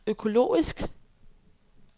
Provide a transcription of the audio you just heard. økologisk